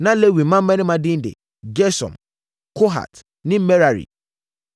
Na Lewi mmammarima din de: Gersom, Kohat ne Merari.